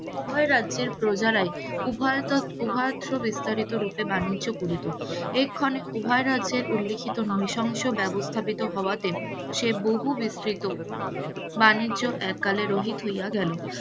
উভয় রাজ্যের প্রজারাই উভয় উভয়ত বিস্তারিত রুপে বাণিজ্য করিত, এক্ষণে উভয় রাজ্যের উল্লিখিত নৃশংস ব্যবস্থা স্থাপিত হওয়াতে সেই বহু বিস্তৃত বাণিজ্য এককালে রোহিত হইয়া গেল,